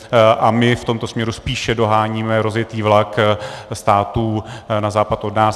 A my v tomto směru spíše doháníme rozjetý vlak států na západ od nás.